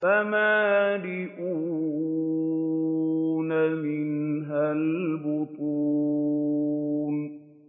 فَمَالِئُونَ مِنْهَا الْبُطُونَ